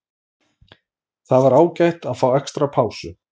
Það var ágætt að fá extra pásu.